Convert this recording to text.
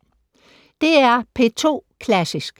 DR P2 Klassisk